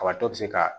Kabatɔ bɛ se ka